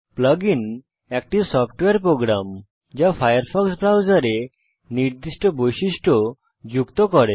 plug আইএন একটি software program যা ফায়ারফক্স ব্রাউজারে নির্দিষ্ট বৈশিষ্ট্য যুক্ত করে